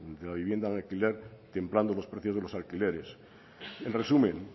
de la vivienda en alquiler templando los precios de los alquileres en resumen